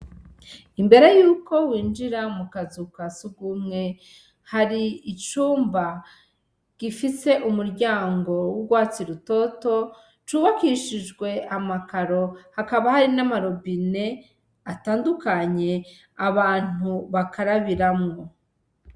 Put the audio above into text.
Imbere yuko winjira mukazu ka sugumwe, hari icumba gifise umuryango w'urwatsi rutoto c'ubakishijwe amakaro, hakaba hari nama robine atandukanye abantu bakarabiramwo.